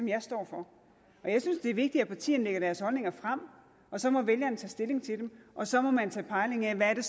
jeg står for og jeg synes det er vigtigt at partierne lægger deres holdninger frem så må vælgerne tage stilling til dem og så må man tage pejling af hvad det